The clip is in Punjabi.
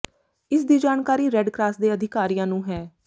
ਇਸ ਦੀ ਜਾਣਕਾਰੀ ਰੈੱਡ ਕਰਾਸ ਦੇ ਅਧਿਕਾਰੀਆਂ ਨੂੰ ਹੈ